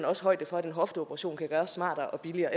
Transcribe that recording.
også højde for at en hofteoperation kan gøres smartere og billigere